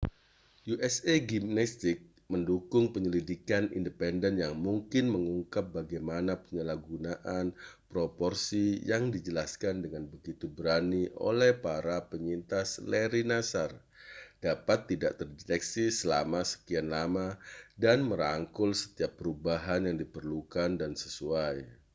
usa gymnastics mendukung penyelidikan independen yang mungkin mengungkap bagaimana penyalahgunaan proporsi yang dijelaskan dengan begitu berani oleh para penyintas larry nassar dapat tidak terdeteksi selama sekian lama dan merangkul setiap perubahan yang diperlukan dan sesuai